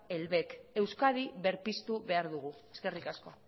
el bec euskadi berpiztu behar dugu eskerrik asko